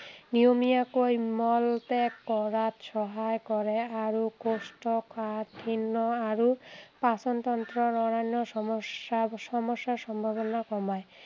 নিয়মীয়াকৈ মল ত্য়াগ কৰাত সহায় কৰে আৰু কৌষ্ঠকাঠিন্য় আৰু পাচন তন্ত্ৰৰ অন্য়ান্য় সমস্য়া সমস্য়াৰ সম্ভাৱনা কমায়।